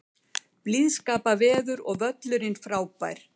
Aðstæður: Blíðskaparveður og völlurinn frábær.